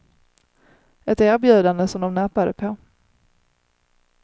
Ett erbjudande som de nappade på.